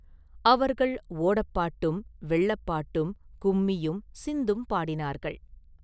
அவர்கள் ஓடப்பாட்டும், வெள்ளப் பாட்டும், கும்மியும், சிந்தும் பாடினார்கள்.